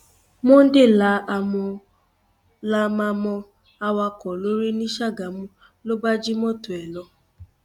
monday la háàmà mọ awakọ lórí ní sàgámù ló bá jí mọtò ẹ lọ